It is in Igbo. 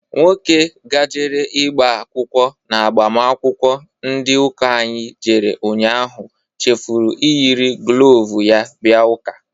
Nwoke gajere igba akwụkwọ n'agbamakwụkwọ ndị ụka anyị jere ụnyaahụ chefuru iyiri glovu ya bia ụka.